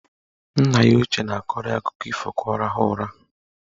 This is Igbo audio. Nna ya ochie na-akọrọ ya akụkọ ifo ka ọ rahụọ ụra.